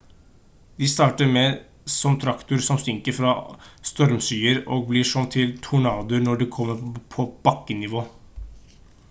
de starter som trakter som synker fra stormskyer og blir om til «tornadoer» når de kommer på bakkenivå